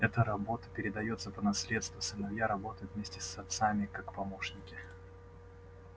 эта работа передаётся по наследству сыновья работают вместе с отцами как помощники